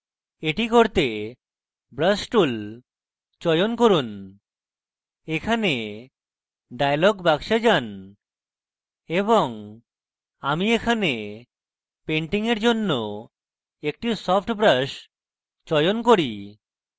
এটি করতে brush tool চয়ন করি এখানে dialog বাক্সে যান এবং আমি এখানে painting এর জন্য একটি soft brush চয়ন করি